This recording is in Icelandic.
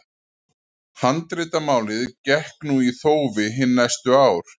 Handritamálið gekk nú í þófi hin næstu ár.